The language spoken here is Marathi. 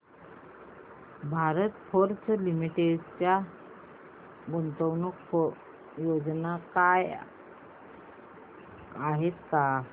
भारत फोर्ज लिमिटेड च्या गुंतवणूक योजना आहेत का